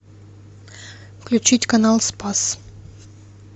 включить канал спас